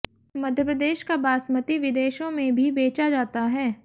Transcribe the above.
मध्यप्रदेश का बासमती विदेशों में भी बेचा जाता है